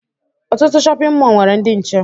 Ọtụtụ shọpịn mọọ nwere ndị nche